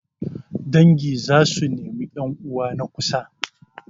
Dangi za su nemi 'yan'uwa na kusa.